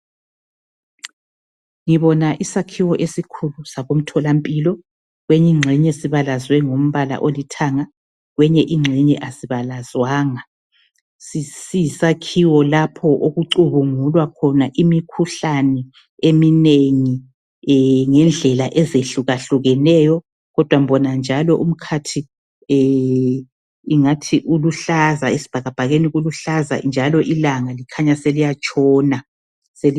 Ngibona isakhiwo esikhulu sakomtholampilo kwenye ingxenye sibalazwe ngombala olithanga kwenye ingxenye asibalazwanga, siyisakhiwo lapho okucubungulwa khona imikhuhlane eminengi ngendlela ezihlukahlukeneyo kodwa ngibona njalo umkhathi ingathi uluhlaza esibhakabhakeni kuluhlaza njalo ilanga likhanya selisiya tshona.